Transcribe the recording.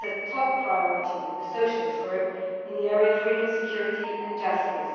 This is a top priority of the Socialist Group in the area of freedom, security and justice.